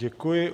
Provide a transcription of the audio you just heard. Děkuji.